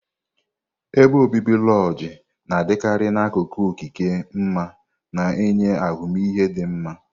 ebe obibi lojii na-adịkarị n'akụkụ okike ma na-enye ahụmịhe dị mma.